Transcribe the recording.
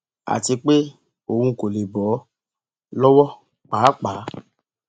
àti pé òun kò lè bọ ọ lọwọ páàpáà